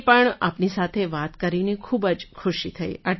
મને પણ આપની સાથે વાત કરીને ખૂબ જ ખુશી થઈ